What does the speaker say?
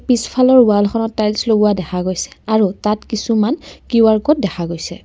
পিছফালৰ ৱালখনত টাইলচ লগোৱা দেখা গৈছে আৰু তাত কিছুমান কিউ_আৰ ক'ড দেখা গৈছে।